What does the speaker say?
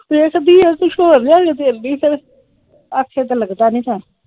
ਵੇਖਦੀ ਆ ਕੁਜ ਹੋਰ ਲਿਆ ਕੇ ਦੇਖਦੀ ਫਿਰ ਆਖੇ ਤੇ ਲੱਗਦਾ ਨੀ ।